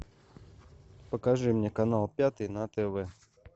покажи мне канал пятый на тв